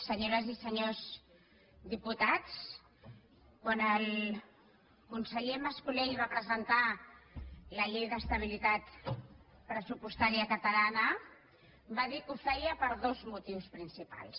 senyores i senyors diputats quan el conseller mas colell va presentar la llei d’estabilitat pressupostària catalana va dir que ho feia per dos motius principals